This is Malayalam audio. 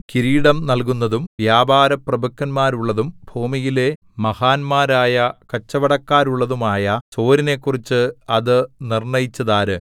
കിരീടം നല്കുന്നതും വ്യാപാരപ്രഭുക്കന്മാരുള്ളതും ഭൂമിയിലെ മഹാന്മാരായ കച്ചവടക്കാരുള്ളതുമായ സോരിനെക്കുറിച്ച് അത് നിർണ്ണയിച്ചതാര്